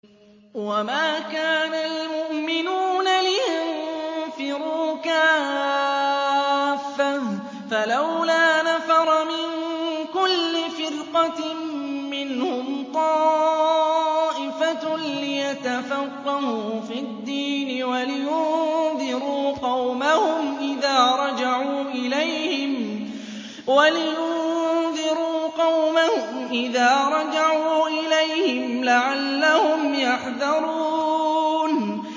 ۞ وَمَا كَانَ الْمُؤْمِنُونَ لِيَنفِرُوا كَافَّةً ۚ فَلَوْلَا نَفَرَ مِن كُلِّ فِرْقَةٍ مِّنْهُمْ طَائِفَةٌ لِّيَتَفَقَّهُوا فِي الدِّينِ وَلِيُنذِرُوا قَوْمَهُمْ إِذَا رَجَعُوا إِلَيْهِمْ لَعَلَّهُمْ يَحْذَرُونَ